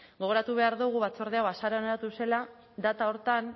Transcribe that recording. gogoratu behar dugu batzorde hau azaroan eratu zela data horretan